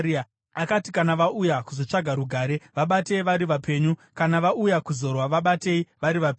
Akati, “Kana vauya kuzotsvaga rugare, vabatei vari vapenyu; kana vauya kuzorwa, vabatei vari vapenyu.”